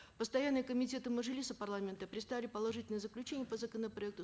постоянные комитеты мажилиса парламента представили положительные заключения по законопроекту